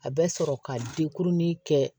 A bɛ sɔrɔ ka de kurunin kɛ